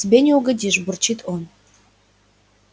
тебе не угодишь бурчит он